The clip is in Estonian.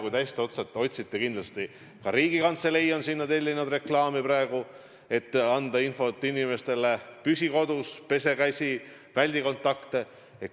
Kui te hästi otsite, siis kindlasti ka Riigikantselei on sinna reklaami tellinud, et anda inimestele infot: "Püsi kodus!", "Pese käsi!", "Väldi kontakte!".